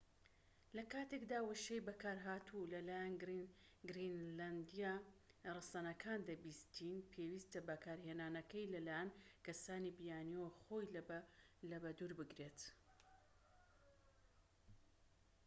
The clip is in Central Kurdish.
لە کاتێکدا وشەی بەکارهاتوو لە لایەن گرینلەندیە ڕەسەنەکان دەبیستیت پێویستە بەکارهێنانەکەی لە لایەن کەسانی بیانیەوە خۆی لە بە دوور بگیرێت